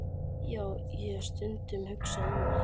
Já, ég hef stundum hugsað um það.